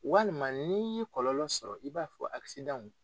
Walima n'i ye kɔlɔlɔnlɔ sɔrɔ i b'a fɔ